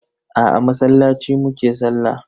Aa, a masallaci mu ke sallah.